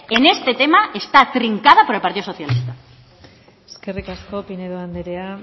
en este tema está trincada por el partido socialista eskerrik asko pinedo andrea